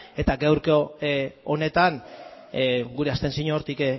eta gaurko honetan gure abstentzioa hortik